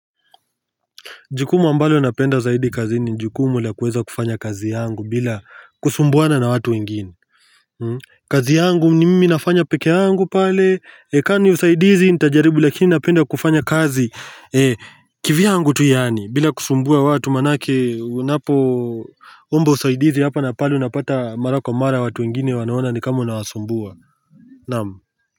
Jukumu ambalo napenda zaidi kazini jukumu la kuweza kufanya kazi yangu bila kusumbuana na watu wengine kazi yangu ni mimi nafanya peke yangu pale na kaa ni usaidizi nitajaribu lakini napenda kufanya kazi kivyangu tu yaani bila kusumbua watu maanake unapoomba usaidizi hapa na pale unapata mara kwa mara watu wengine wanaona ni kama unawasumbua Naam.